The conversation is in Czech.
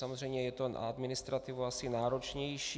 Samozřejmě je to na administrativu asi náročnější.